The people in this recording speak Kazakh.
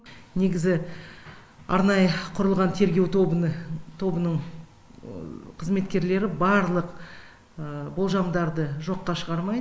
негізі арнайы құрылған тергеу тобының қызметкерлері барлық болжамдарды жоққа шығармайды